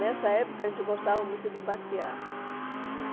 Nessa época, a gente gostava muito de passear.